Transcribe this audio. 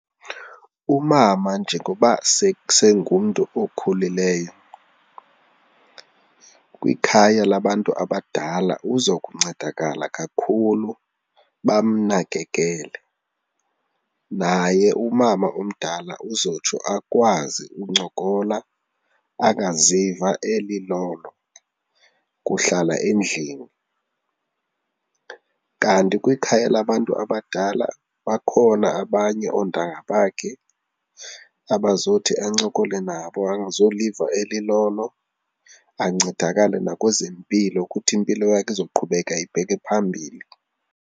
Umama njengoba sengumntu okhulileyo, kwikhaya labantu abadala uzokuncedakala kakhulu bamnakekele. Naye umama omdala uzotsho akwazi uncokola, angaziva elilolo kuhlala endlini kanti kwikhaya labantu abadala bakhona abanye oontanga bakhe abazothi ancokole nabo angazoliva elilolo, ancedakale nakwezempilo ukuthi impilo yakhe izoqhubeka ibheke phambili.